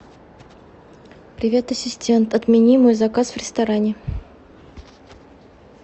привет ассистент отмени мой заказ в ресторане